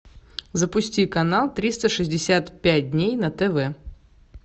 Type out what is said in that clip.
запусти канал триста шестьдесят пять дней на тв